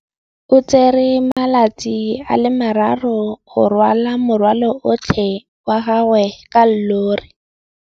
O tsere malatsi a le marraro go rwala morwalo otlhe wa gagwe ka llori.